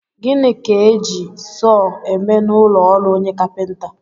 Gịnị ka e ji sọọ eme n'ụlọọrụ onye kapịnta?